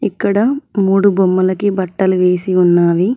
ఇక్కడ మూడు బొమ్మలకి బట్టలు వేసి ఉన్నావి.